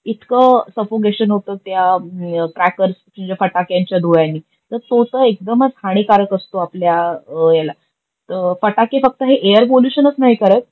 इतक सफोगेशन होत त्या क्र्याकरस जे फटाक्यांच्या धुव्यानी त तो तर एकदमच हानिकारक असतो आपल्या याला. फटाके फक्त हे ऐयर पोल्युशनच नाही करत